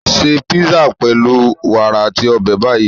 Ṣé písà pẹlu wàrà ati obe Bayi.